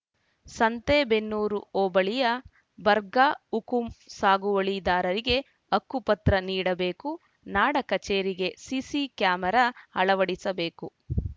ಸಂತೇಬೆನ್ನೂರು ಹೋಬಳಿಯ ಬಗರ್‌ಹುಕುಂ ಸಾಗುವಳಿದಾರರಿಗೆ ಹಕ್ಕುಪತ್ರ ನೀಡಬೇಕು ನಾಡ ಕಚೇರಿಗೆ ಸಿಸಿ ಕ್ಯಾಮೆರಾ ಅಳವಡಿಸಬೇಕು